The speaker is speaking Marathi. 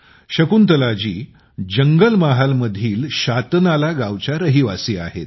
शकुंतलाजी जंगलमहालमधील सतनाला गावच्या रहिवासी आहेत